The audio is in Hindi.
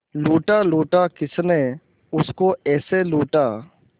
लूटा लूटा किसने उसको ऐसे लूटा